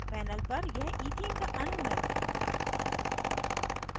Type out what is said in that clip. panel पर यह ethene का अणु है